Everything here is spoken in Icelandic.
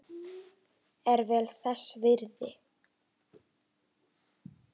Er vel þess virði.